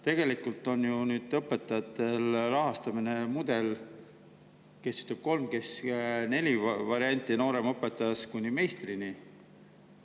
Tegelikult on ju õpetajatel rahastamise mudel – kes ütleb, et sellel on kolm, kes ütleb, et neli – nooremõpetajast kuni meistrini.